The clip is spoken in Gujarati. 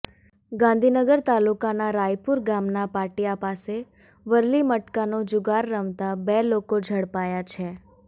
ગાંધીનગર તાલુકાના રાયપુર ગામના પાટીયા પાસે વરલી મટકાનો જુગાર રમતા બે લોકો ઝડપાયા છે